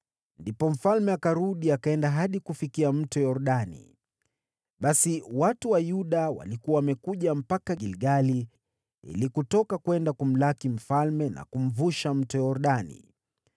Ndipo mfalme akarudi, akaenda hadi kufikia Mto Yordani. Basi watu wa Yuda walikuwa wamekuja mpaka Gilgali ili kutoka kwenda kumlaki mfalme na kumvusha Mto Yordani.